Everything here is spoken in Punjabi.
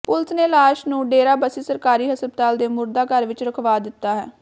ਪੁਲਸ ਨੇ ਲਾਸ਼ ਨੂੰ ਡੇਰਾਬੱਸੀ ਸਰਕਾਰੀ ਹਸਪਤਾਲ ਦੇ ਮੁਰਦਾ ਘਰ ਵਿੱਚ ਰਖਵਾ ਦਿੱਤਾ ਹੈ